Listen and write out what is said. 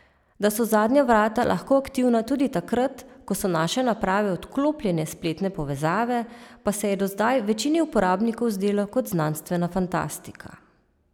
Da so zadnja vrata lahko aktivna tudi takrat, ko so naše naprave odklopljene s spletne povezave, pa se je do zdaj večini uporabnikov zdelo kot znanstvena fantastika.